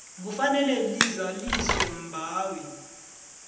kufanele lizaliswe mbawi